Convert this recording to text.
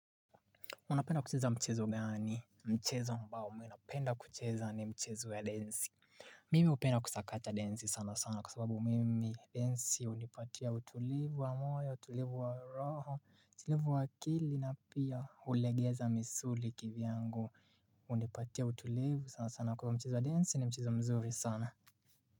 Unapenda kucheza mchezo gani, mchezo ambao, napenda kucheza ni mchezo ya densi Mimi hupenda kusakacha densi sana sana kwa sababu mimi densi hunipatia utulivu wa moyo, utulivu wa roho, utulivu wa akili na pia hulegeza misuli kivyangu hunipatia utulivu sana sana kwa mchezo wa densi ni mchezo mzuri sana.